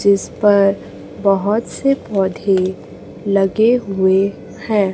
जिस पर बहोत से पौधे लगे हुए है।